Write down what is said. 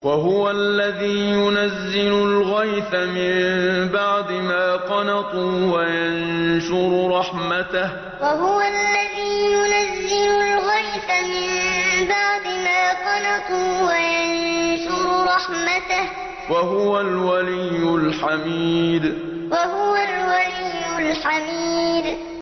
وَهُوَ الَّذِي يُنَزِّلُ الْغَيْثَ مِن بَعْدِ مَا قَنَطُوا وَيَنشُرُ رَحْمَتَهُ ۚ وَهُوَ الْوَلِيُّ الْحَمِيدُ وَهُوَ الَّذِي يُنَزِّلُ الْغَيْثَ مِن بَعْدِ مَا قَنَطُوا وَيَنشُرُ رَحْمَتَهُ ۚ وَهُوَ الْوَلِيُّ الْحَمِيدُ